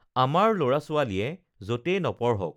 আমাৰ লৰা ছোৱালীয়ে যতেই নপঢ়ক